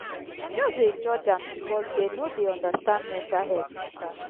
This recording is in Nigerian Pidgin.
dem just dey judge am because dey no dey understand mental health mata.